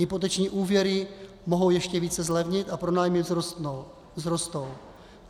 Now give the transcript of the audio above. Hypoteční úvěry mohou ještě více zlevnit a pronájmy vzrostou.